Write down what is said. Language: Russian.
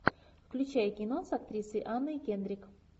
включай кино с актрисой анной кендрик